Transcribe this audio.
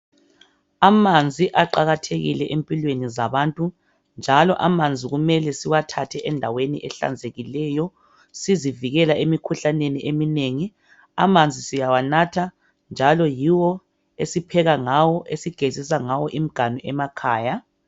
Amanzi aqakathekile empilweni zabantu njalo amanzi kumele siwathathe endaweni ehlanzekileyo sizivikela emikhuhlaneni iminingi amanzi siyawa natha, njalo yiwo esipheka ngawo njalo yiwo esigezisa ngawo imiganu emakhaya